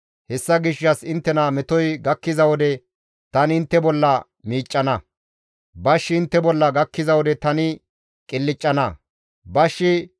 Hessa gishshas inttena metoy gakkiza wode tani intte bolla miiccana; bashshi intte bolla gakkiza wode tani intte bolla qilccana.